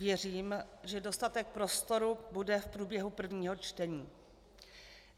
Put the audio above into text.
Věřím, že dostatek prostoru bude v průběhu prvního čtení.